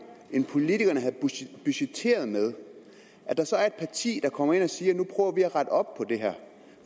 end politikerne havde budgetteret med at der så er et parti der kommer ind og siger nu prøver vi at rette op